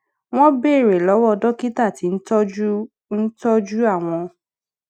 wón béèrè lówó dókítà tí ń tójú ń tójú àwọn